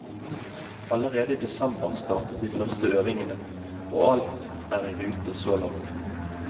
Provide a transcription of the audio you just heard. Allerede i desember startet de første øvingene, og alt er i rute så langt.